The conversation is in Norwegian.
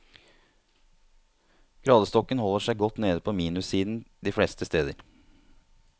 Gradestokken holder seg godt nede på minussiden de fleste steder.